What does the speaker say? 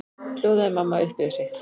hljóðaði mamma upp yfir sig.